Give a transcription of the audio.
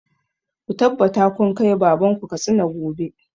Ku tabbata kun kai baban ku Katsina gobe!